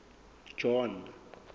john